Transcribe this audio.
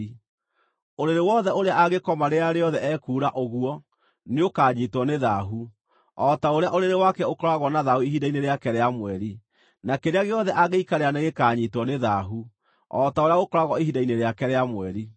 Ũrĩrĩ wothe ũrĩa angĩkoma rĩrĩa rĩothe ekuura ũguo, nĩũkanyiitwo nĩ thaahu, o ta ũrĩa ũrĩrĩ wake ũkoragwo na thaahu ihinda-inĩ rĩake rĩa mweri, na kĩrĩa gĩothe angĩikarĩra nĩ gĩkaanyiitwo nĩ thaahu, o ta ũrĩa gũkoragwo ihinda-inĩ rĩake rĩa mweri.